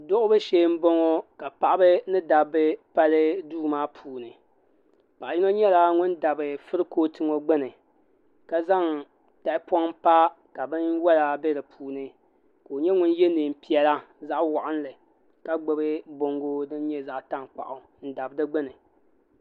suɣibu shɛɛ n bɔŋɔ ka paɣ' ba ni daba pali do maa puuni paɣ' yino nyɛla ŋɔ dabi kuriƒɔtɛ ŋɔ gbani ka zaŋ tahipɔŋ pa kabɛn wala bɛ di puuni ko nyɛ ŋɔ yɛ nɛɛpiɛla zaɣ' walinli ka gbabi buŋɔ din nyɛ zaɣ' tankpagu n Dani di gbani